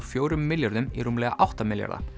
fjórum milljörðum í rúmlega átta milljarða